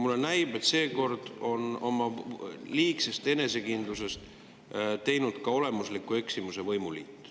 Mulle näib, et seekord on oma liigsest enesekindlusest teinud olemusliku eksimuse võimuliit.